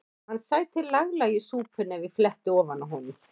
Hann sæti laglega í súpunni ef ég fletti ofan af honum.